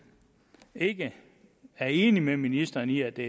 ikke er enig med ministeren i at det